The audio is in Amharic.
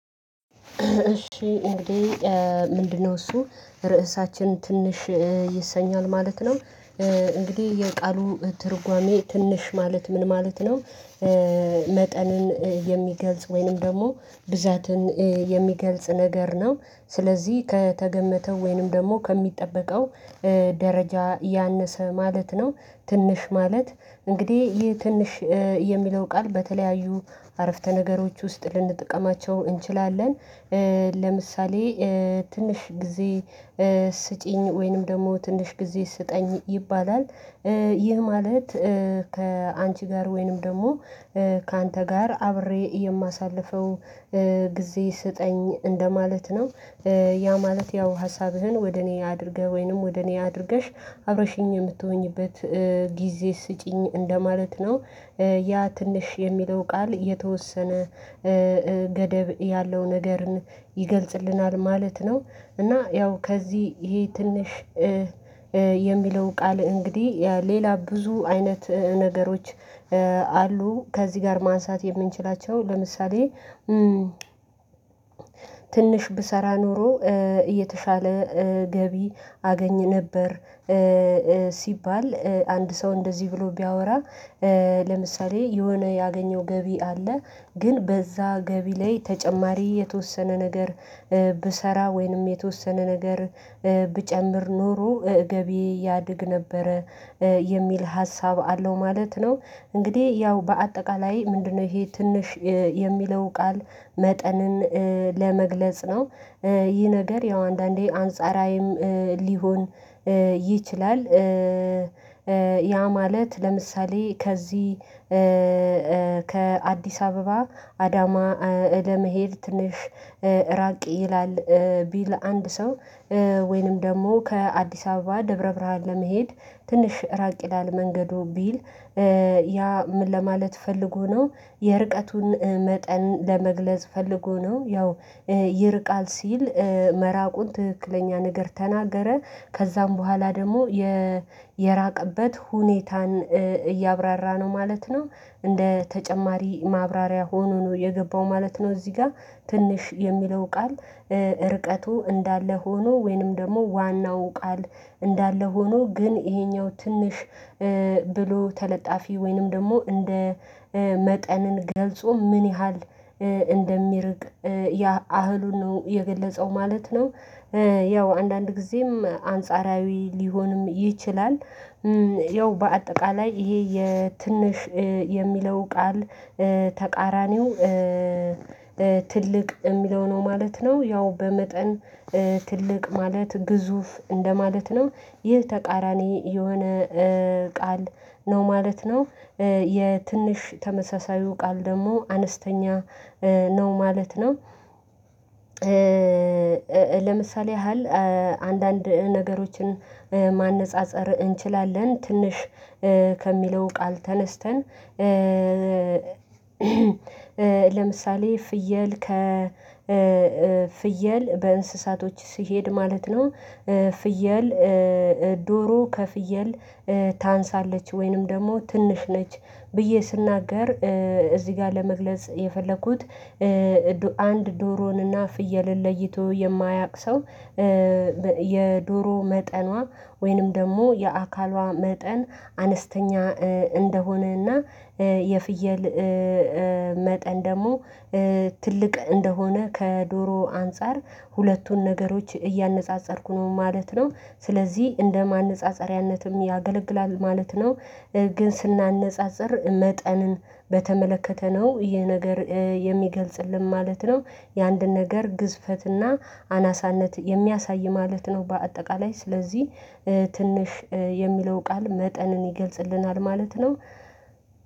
እሺ እንግዲህ ምንድነው እሱ ርዕሳችን ትንሽ ይሰኛል ማለት ነው። እንግዲህ የቃሉ ትርጓሜ ትንሽ ማለት ምን ማለት ነው? መጠንን የሚገልጽ ወይንም ደግሞ ብዛትን የሚገልጽ ነገር ነው። ስለዚህ ከተገመተው ወይንም ደግሞ ከሚጠበቀው ደረጃ ያነሰ ማለት ነው። ትንሽ ማለት እንግዲህ ይህ ትንሽ የሚለው ቃል በተለያዩ አረፍተ ነገሮች ውስጥ ልንጠቀማቸው እንችላለን። ለምሳሌ ትንሽ ጊዜ ስጪኝ ወይንም ደግሞ ትንሽ ጊዜ ስጠኝ ይባላል። ይህ ማለት ከአንቺ ጋር ወይንም ደግሞ ካንተ ጋር አብሬ የማሳልፈው ጊዜ ስጠኝ እንደማለት ነው። ያ ማለት ያው ሀሳብህን ወደ እኔ አድርገህ ወይንም ወደ እኔ አድርገሽ አብረሽኝ የምትሆኚበት ጊዜ ስጪኝ እንደማለት ነው። ያ ትንሽ የሚለው ቃል የተወሰነ ገደብ ያለው ነገርን ይገልጽልናል ማለት ነው። እና ያው ከዚህ ይሄ ትንሽ የሚለው ቃል እንግዲህ ሌላ ብዙ አይነት ነገሮች አሉ። ከዚህ ጋር ማንሳት የምንችላቸው ለምሳሌ። ትንሽ ብሰራ ኖሮ እየተሻለ ገቢ አገኝ ነበር። ሲባል አንድ ሰው እንደዚህ ብሎ ቢያወራ ለምሳሌ የሆነ ያገኘው ገቢ አለ ግን በዛ ገቢ ላይ ተጨማሪ የተወሰነ ነገር ብሰራ ወይንም የተወሰነ ነገር ብጨምር ኖሮ ገቢዬ ያድግ ነበረ የሚል ሀሳብ አለው ማለት ነው። እንግዲህ ያው በአጠቃላይ ምንድነው ይሄ ትንሽ የሚለው ቃል መጠንን ለመግለጽ ነው። ይህ ነገር ያው አንዳንዴ አንጻራዊም ሊሆን ይችላል። ያ ማለት ለምሳሌ ከዚህ ከአዲስ አበባ አዳማ ለመሄድ ትንሽ ራቅ ይላል ቢል አንድ ሰው ወይንም ደግሞ ከአዲስ አበባ ደብረ ብርሃን ለመሄድ ትንሽ ራቅ ይላል መንገዱ ቢል ያ ለማለት ፈልጎ ነው። የርቀቱን መጠን ለመግለጽ ፈልጎ ነው ያው ይርቃል ሲል መራቁን ትክክለኛ ነገር ተናገረ። ከዛም በኋላ ደግሞ የራቀበት ሁኔታን እያብራራ ነው ማለት ነው። እንደ ተጨማሪ ማብራሪያ ሆኖ ነው የገባው ማለት ነው። እዚህ ጋር ትንሽ የሚለው ቃል ርቀቱ እንዳለ ሆኖ ወይንም ደግሞ ዋናው ቃል እንዳለ ሆኖ ግን ይሄኛውን ትንሽ ብሎ ተለጣፊ ወይንም ደግሞ እንደ መጠንን ገልጾ ምን ያህል እንደሚርቅ ያ አህሉን ነው የገለጸው ማለት ነው። ያው አንዳንድ ጊዜም አንጻራዊ ሊሆንም ይችላል። ያው በአጠቃላይ ይሄ የትንሽ የሚለው ቃል ተቃራኒው ትልቅ የሚለው ነው ማለት ነው። ያው በመጠን ትልቅ ማለት ግዙፍ እንደማለት ነው። ይህ ተቃራኒ የሆነ ቃል ነው ማለት ነው። የትንሽ ተመሳሳይው ቃል ደግሞ አነስተኛ ነው ማለት ነው። ለምሳሌ ያህል አንዳንድ ነገሮችን ማነፃፀር እንችላለን ትንሽ ከሚለው ቃል ተነስተን ቃል ተነስተን ለምሳሌ ፍየል ከፍየል በእንስሳቶች ሲሄድ ማለት ነው። ፍየል ዶሮ ከፍየል ታንሳለች ወይንም ደግሞ ትንሽ ነች። ብዬ ስናገር እዚህ ጋር ለመግለጽ የፈለኩት አንድ ዶሮንና ፍየልን ለይቶ የማያውቅ ሰው የዶሮ መጠኗ ወይንም ደግሞ የአካሏ መጠን አነስተኛ እንደሆነና የፍየል መጠን ደግሞ ትልቅ እንደሆነ ከዶሮ አንፃር ሁለቱን ነገሮች እያነፃፀርኩ ነው ማለት ነው። ስለዚህ እንደ ማነፃፀሪያነትም ያገለግላል ማለት ነው። ግን ስናነጻጽር መጠንን በተመለከተ ነው ይሄ ነገር የሚገልጽልን ማለት ነው። የአንድ ነገር ግዝፈትና አናሳነት የሚያሳይ ማለት ነው በአጠቃላይ ስለዚህ ትንሽ የሚለው ቃል መጠንን ይገልጽልናል ማለት ነው